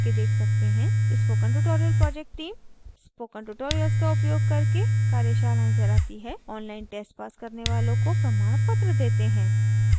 spoken tutorial project team spoken tutorials का प्रयोग करके कार्यशालाएं चलाती है